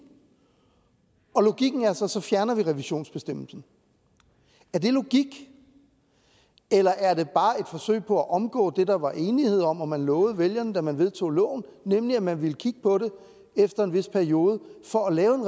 og logikken er så at så fjerner vi revisionsbestemmelsen er det logik eller er det bare et forsøg på at omgå det der var enighed om og som man lovede vælgerne da man vedtog loven nemlig at man ville kigge på det efter en vis periode for at lave